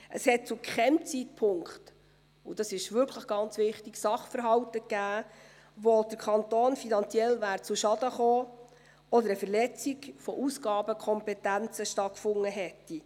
Es gab zu keinem Zeitpunkt – und das ist wirklich ganz wichtig – Sachverhalte, wo der Kanton finanziell zu Schaden gekommen wäre oder eine Verletzung von Aufgabenkompetenzen stattgefunden hätte.